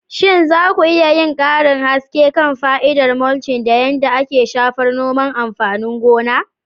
Shin za ku iya yin karin haske kan fa'idar mulching da yadda yake shafar noman amfanin gona?